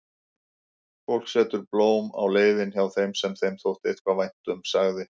Fólk setur blóm á leiðin hjá þeim sem þeim þótti eitthvað vænt um, sagði